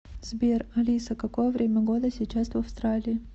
сбер алиса какое время года сейчас в австралии